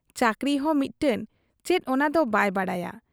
ᱪᱟᱹᱠᱨᱤᱦᱚᱸ ᱢᱤᱫᱴᱟᱹᱝ ᱪᱮᱫ ᱚᱱᱟᱫᱚ ᱵᱟᱭ ᱵᱟᱰᱟᱭᱟ ᱾